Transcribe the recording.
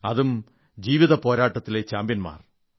അതും ജീവിത പോരാട്ടത്തിലെ ചാംപ്യൻമാർ